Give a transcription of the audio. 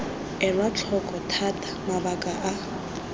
elwa tlhoko thata mabaka a